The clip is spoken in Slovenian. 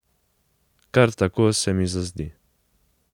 Kar tako se mi zazdi.